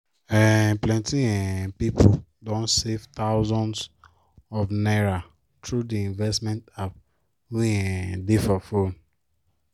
um plenty um people don save thousands of naira through the investment app wey um dey for phone